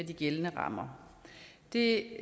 de gældende rammer det